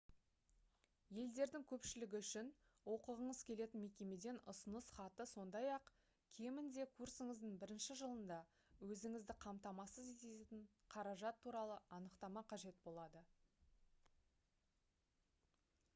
елдердің көпшілігі үшін оқығыңыз келетін мекемеден ұсыныс хаты сондай-ақ кемінде курсыңыздың бірінші жылында өзіңізді қамтамасыз ететін қаражат туралы анықтама қажет болады